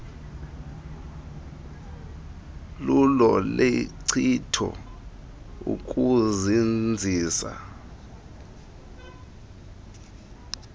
lulo lenkcitho ukuzinzisa